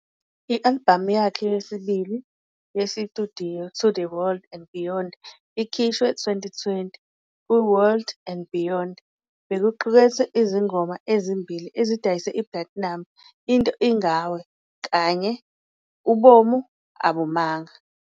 I-albhamu yakhe yesibili yesitudiyo "To the World and Beyond", ikhishwe, 2020. "KuWorld and Beyond" bekuqukethe izingoma ezimbili ezidayisa i-platinum- "Into Ingawe" kanye "Ubomi Abumanga".